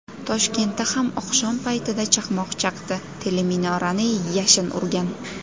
Toshkentda ham oqshom paytida chaqmoq chaqdi, teleminorani yashin urgan.